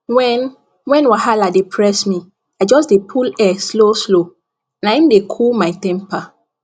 when when wahala dey press me i just dey pull air slow slow na im dey cool my temper